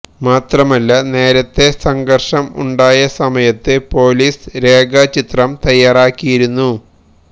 മാത്രമല്ല നേരത്ത സംഘർഷം ഉണ്ടാക്കിയ സമയത്ത് പൊലിസ് രേഖാ ചിത്രം തയ്യാറാക്കിയിരുന്നു